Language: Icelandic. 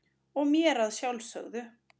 og mér að sjálfsögðu.